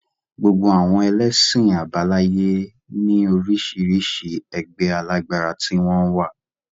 Gbogbo àwọn ẹlẹ́sìn àbáláyé ní orísirísi ẹgbẹ́ alágbára tí wọ́n wà